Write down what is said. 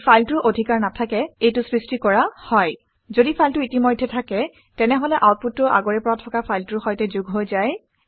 ঘদি ফাইলটোৰ স্থিতি অধিকাৰ নাথাকে এইটো সৃষ্টি কৰা হয়। যদি ফাইলটো ইতিমধ্যেই থাকে তেনেহলে আউটপুটটো আগৰে পৰা থকা ফাইলটোৰ সৈতে যোগ হৈ যায়